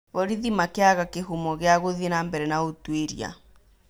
Borithi makĩaga kĩhumo gĩa gũthiĩ nambere na ũtũĩria.